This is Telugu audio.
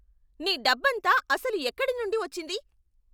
నీ డబ్బంతా అసలు ఎక్కడి నుండి వచ్చింది?